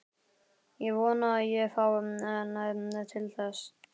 Ég vona að ég fái næði til þess.